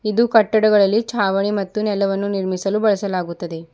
ಇದು ಕಟ್ಟಡಗಳಲ್ಲಿ ಚಾವಣಿ ಮತ್ತು ನೆಲವನ್ನು ನಿರ್ಮಿಸಲು ಬಳಸಲಾಗುತ್ತದೆ.